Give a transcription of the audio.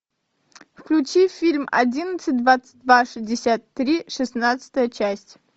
включи фильм одиннадцать двадцать два шестьдесят три шестнадцатая часть